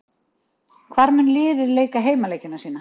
Hvar mun liðið leika heimaleiki sína?